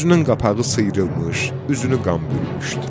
Gözündən qapağı sıyrılmış, üzünü qan bürümüşdür.